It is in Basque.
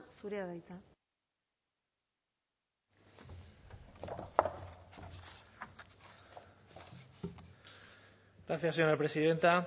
zurea da hitza gracias señora presidenta